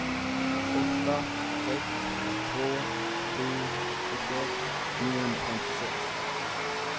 åtta ett två sju trettioett niohundrafemtiosex